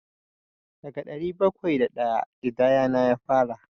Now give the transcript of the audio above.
Daga ɗari bakwai da ɗaya ƙidayana ya fara.